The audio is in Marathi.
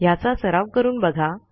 ह्याचा सराव करून बघा